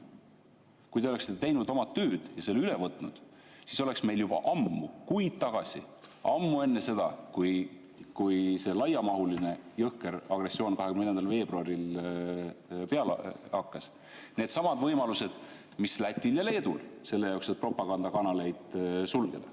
Kui te oleksite teinud oma tööd ja selle üle võtnud, siis oleks meil juba ammu, kuid tagasi, ammu enne seda, kui see laiamahuline jõhker agressioon 24. veebruaril peale hakkas, needsamad võimalused mis Lätil ja Leedul selle jaoks, et propagandakanaleid sulgeda.